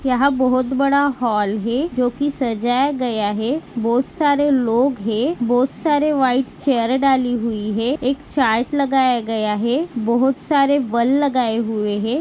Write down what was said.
यहा बहुत बड़ा हॉल है जो की सजाया गया है। बहुत सारे लोग है। बहुत सारे व्हाइट चेयर डाली हुई है। एक चार्ट लगाया गया है। बहुत सारे बल लगाए हुए है।